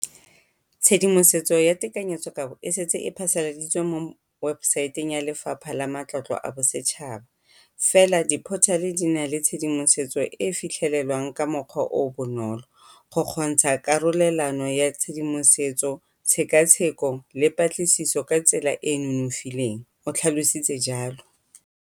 Tshedimosetso ya tekanyetsokabo e setse e phasaladitswe mo webosaeteng ya Lefapha la Matlotlo a Bosetšhaba, fela diphothale di na le tshedimosetso e e fitlhelelwang ka mokgwa o o bonolo, go kgontsha karolelano ya tshedimosetso, tshekatsheko le patlisiso ka tsela e e nonofileng, o tlhalositse jalo.